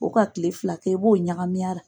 O ka kile fila kɛ i b'o ɲagami a la.